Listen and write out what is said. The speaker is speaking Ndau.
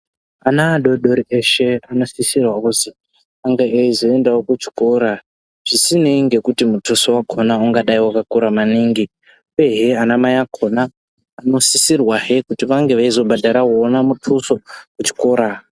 Ana adodori eshe anosisirwa kuzi anga echizoendavo kuchikora chisinei nekuti mutuso vacho vange vakakura maningi uyezve ana mai akona anosisirwahe kuti vange veizovhadhara ona mutusuvo wechikora.